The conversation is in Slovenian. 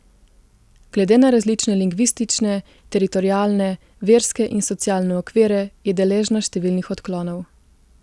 Glede na različne lingvistične, teritorialne, verske in socialne okvire je deležna številnih odklonov.